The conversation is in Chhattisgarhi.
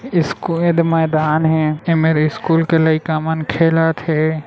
इ स्कुल दा मैदान है ऐ मेरे इ स्कुल के लइकामन खेलत हे ।